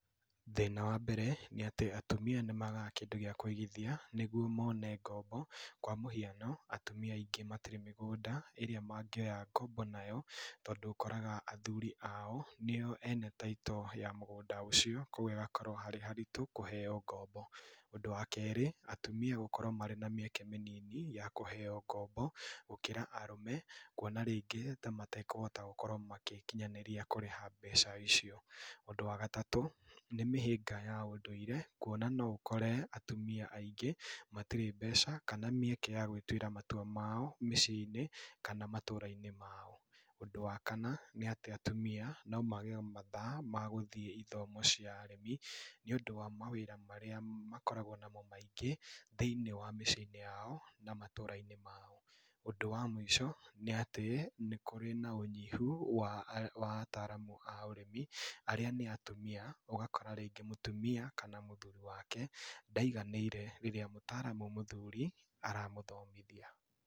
Thĩna wa mbere nĩ atĩ, atumia nĩmagaga kĩndũ gĩa kwĩgithia nĩgwo mone ngombo, kwa mũhiano atumia aingĩ matirĩ mĩgũnda ĩrĩa mangĩoya ngombo nayo, tondũ ũkoraga athuri ao nĩo ene taitũ ya mũgũnda ũcio, kwogwo ĩgakorwo harĩ haritũ kũheywo ngombo. Ũndũ wa kerĩ, atumia gũkorwo marĩ na mĩeke mĩnini ya kũheywo ngombo, gũkĩra arũme, kuona rĩngĩ ta matekuhota gũkorwo makĩkinyanĩria kũrĩha mbeca icio. Ũndũ wa gatatũ, nĩ mĩhĩnga ya ũndũire kuona no ũkore atumia aingĩ matirĩ mbeca kana mĩeke ya gwĩtuĩra matua mao mĩciĩ-inĩ kana matũũra-inĩ mao. Ũndũ wa kana, nĩ atĩ atumia no mage mathaa ma gũthiĩ ithomo cia arĩmi, nĩ ũndũ wa mawĩra marĩa makoragwo namo maingĩ thĩiniĩ wa mĩciĩ-inĩ yao na matũũra-inĩ mao. Ũndũ wa mũico, nĩ atĩ, nĩ kũrĩ na ũnyihu wa arĩ, wa ataaramu a ũrĩmi arĩa nĩ atumia, ũgakora rĩngĩ mũtumia kana mũthuuri wake ndaiganĩire rirĩa mũtaaramu mũthuri aramũthomithia.